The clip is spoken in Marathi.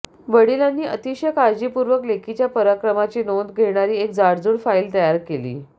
वडिलांनी अतिशय काळजीपूर्वक लेकीच्या पराक्रमाची नोंद घेणारी एक जाडजूड फाईल तयार केली